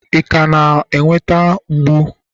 ị ka na-enwe mmetụta mgbu